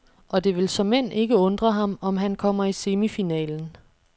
Og det vil såmænd ikke undre ham, om han kommer i semifinalen.